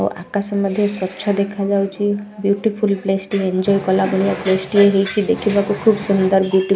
ଓ ଆକାଶ ମଧ୍ୟ ସ୍ୱଚ୍ଛ ଦେଖାଯାଉଛି ବିଉଟିଫୁଲ୍ ପ୍ଲେସ ଟି ଏଞ୍ଜୟ୍ଆ କଲା ଭଳିଆ ପ୍ଲେସ ଟି ହେଇଛି ଦେଖିବାକୁ ଖୁବ୍ ସୁନ୍ଦର ବିଉଟି --